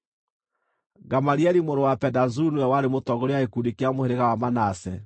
Gamalieli mũrũ wa Pedazuru nĩwe warĩ mũtongoria wa gĩkundi kĩa mũhĩrĩga wa Manase,